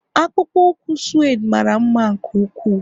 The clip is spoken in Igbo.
akpụkpọ ụkwụ suede mara mma nke ukwuu